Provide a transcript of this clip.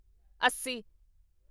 ਅੱਸੀ